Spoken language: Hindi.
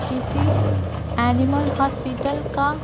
किसी एनिमल हॉस्पिटल का--